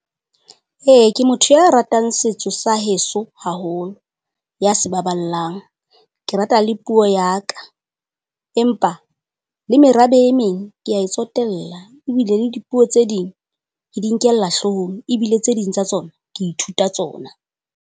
E ke motho ya ratang setso sa heso haholo, ya se baballang. Ke rata le puo ya ka, empa le merabe e meng kea e tsotella, ebile le dipuo tse ding ke di nkella hloohong, ebile tse ding tsa tsona ke ithuta tsona.